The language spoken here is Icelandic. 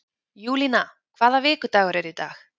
Júlína, hvaða vikudagur er í dag?